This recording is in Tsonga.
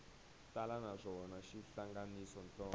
tala naswona xi hlanganisa nhloko